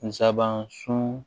Nsaban sun